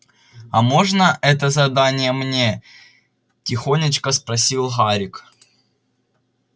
а можно это задание мне тихонечко спросил гарик